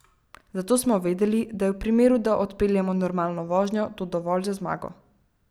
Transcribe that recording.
Zato smo vedeli, da je v primeru, da odpeljemo normalno vožnjo, to dovolj za zmago.